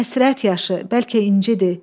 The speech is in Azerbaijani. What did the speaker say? Bəlkə həsrət yaşı, bəlkə incidir.